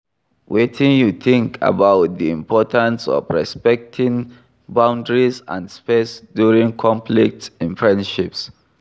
Wetin you think about di importance of respecting boundaries and space during conflicts in friendships?